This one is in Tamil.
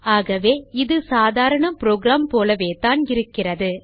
ஆகவே இது சாதாரண புரோகிராம் போலத்தான் இருக்கிறது